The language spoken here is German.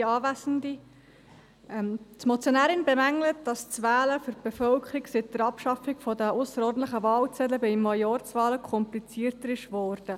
Die Motionärin bemängelt, seit der Abschaffung der ausserordentlichen Wahlzettel sei das Wählen für die Bevölkerung bei Majorzwahlen komplizierter geworden.